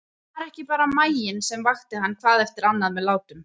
Það var ekki bara maginn sem vakti hann hvað eftir annað með látum.